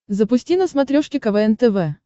запусти на смотрешке квн тв